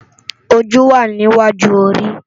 Ójú wá ni iwájú óri